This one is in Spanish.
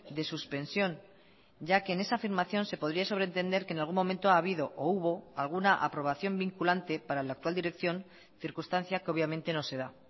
de suspensión ya que en esa afirmación se podría sobrentender que en algún momento ha habido o hubo alguna aprobación vinculante para la actual dirección circunstancia que obviamente no se da